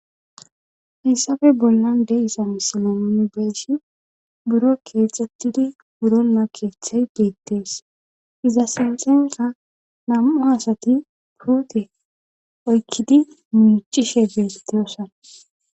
Hayssafe bollan de7iza misila nuni be7ishin buro keexxettidi buro nakeethey biittees. Iza sinxenka nam7u asati puute oykkidi muucishe beettiyosana.